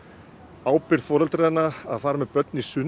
ábyrgð foreldranna að fara með börn í sund